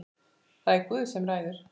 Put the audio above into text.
Það er Guð sem ræður.